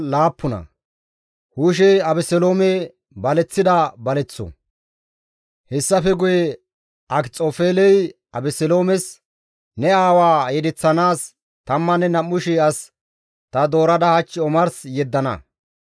Hessafe guye Akxofeeley Abeseloomes, «Ne aawaa yedeththanaas 12,000 as ta doorada hach omars yeddana.